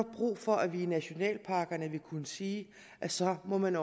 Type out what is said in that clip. brug for at vi i nationalparkerne vil kunne sige at så må man